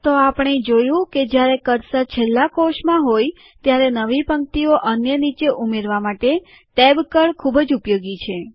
તો આપણે જોયું કે જયારે કર્સર છેલ્લા કોષમાં હોય ત્યારે નવી પંક્તિઓ અન્ય નીચે ઉમેરવા માટે ટૅબ કી ખૂબ જ ઉપયોગી છે